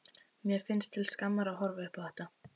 Mér finnst til skammar að horfa upp á þetta.